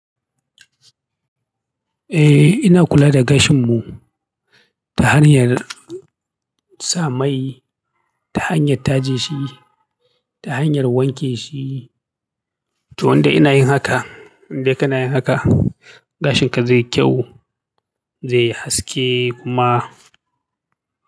Eh ina kula da gashin mu, ta hanyar sa mai, ta hanyar taje shi, ta hanyar wanke shi. To wanda ina yin haka, in dai kana yin haka, gashin ka zai yi kyau, zai yi haske kuma.